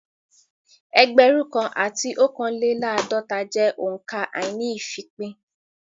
Ẹgbẹ̀rún kan àti ọ̀kánléláàdọ́ta jẹ́ òǹkà àíní-ìfípín